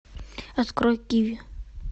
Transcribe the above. открой киви